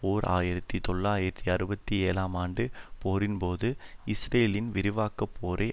ஓர் ஆயிரத்தி தொள்ளாயிரத்தி அறுபத்தி ஏழாம் ஆண்டுப் போரின்போது இஸ்ரேலின் விரிவாக்கப் போரை